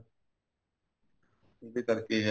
ਉਹਦੇ ਕਰਕੇ ਹੈ